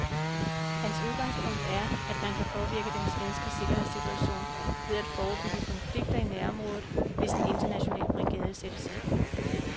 Hans udgangspunkt er, at man kan påvirke den svenske sikkerhedssituation ved at forebygge konflikter i nærområdet, hvis en international brigade sættes ind.